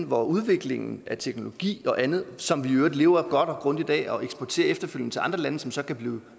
hvor udviklingen af teknologi og andet som vi i øvrigt lever godt og grundigt af og eksporterer efterfølgende til andre lande som så kan blive